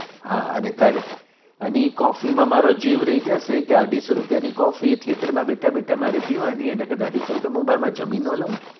હા અને એ તારે અની એ તારી coffee માં મારો જીવ રાઈ જશે અઢીસો રૂપિયા ની theater coffee માં બેઠા બેઠા મારે પીવાની એનાં કરતા અઠીસો રૂપિયા માં બાર માં હું જમી ના લવ